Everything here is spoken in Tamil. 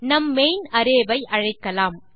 நம் மெயின் அரே வை அழைக்கலாம்